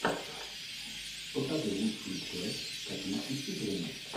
покажи лучшую часть копилки с играми